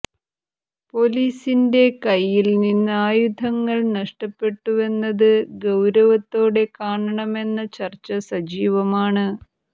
പൊലീസിന്റെ കൈയിൽ നിന്ന് ആയുധങ്ങൾ നഷ്ടപ്പെട്ടുവെന്നത് ഗൌരവത്തോടെ കാണണമെന്ന ചർച്ച സജീവമാണ്